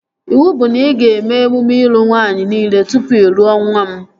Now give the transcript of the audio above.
Iwu bụ na ị ga-eme emume ịlụ nwaanyị nile tụpụ ị lụọ nwa m